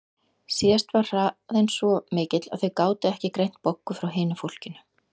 Síðast var hraðinn svo mikill að þau gátu ekki greint Boggu frá hinu fólkinu.